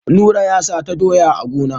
Nura ya sata doyan a gona.